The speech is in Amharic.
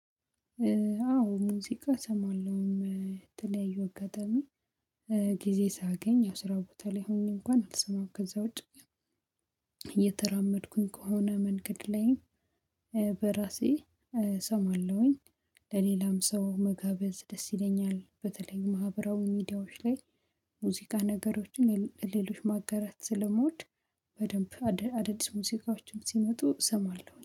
አዎ ሙዚቃ እሰማለሁም ተለያዩ አጋጣሚ ጊዜ ሳገኝ ያው ስራ ቦታ ላይ ሆኜ እንኳን አልሰማም ከዛ ውጪ እየተራመድኩኝ ከሆነ መንገድ ላይ እሰማለሁኝ። ለሌላም ሰው መጋበዝ ደስ ይለኛል። በተለይ ማህበራዊ ሚዲያዎች ላይ ሙዚቃ ነገሮችን ለሌሎች ማጋራት ስለምወድ በደንብ አዳዲስ ሙዚቃዎችም ሲመጡ እሰማለሁ